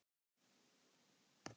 Er ekki mjög kalt?